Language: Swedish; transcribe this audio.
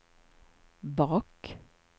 bak